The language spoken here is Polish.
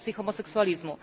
promocji homoseksulizmu.